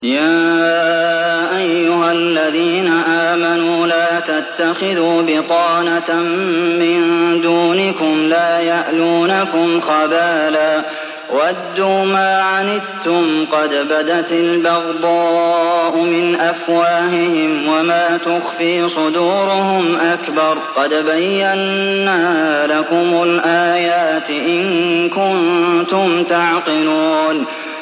يَا أَيُّهَا الَّذِينَ آمَنُوا لَا تَتَّخِذُوا بِطَانَةً مِّن دُونِكُمْ لَا يَأْلُونَكُمْ خَبَالًا وَدُّوا مَا عَنِتُّمْ قَدْ بَدَتِ الْبَغْضَاءُ مِنْ أَفْوَاهِهِمْ وَمَا تُخْفِي صُدُورُهُمْ أَكْبَرُ ۚ قَدْ بَيَّنَّا لَكُمُ الْآيَاتِ ۖ إِن كُنتُمْ تَعْقِلُونَ